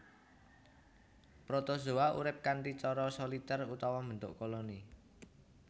Protozoa urip kanthi cara solitèr utawa mbentuk koloni